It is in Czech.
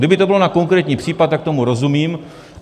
Kdyby to bylo na konkrétní případ, tak tomu rozumím.